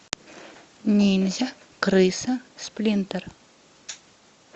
ниндзя крыса сплинтер